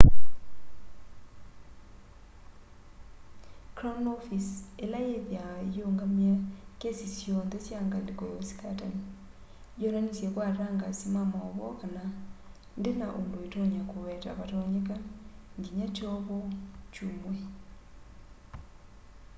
crown office ila yithiawa iungamie kesi syonthe sya ngaliko ya usikatani yonanisye kwa atangasi ma mauvoo kana ndina undu itonya kuweta vatonyeka nginya kyovo kyumw'e